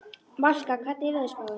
Valka, hvernig er veðurspáin?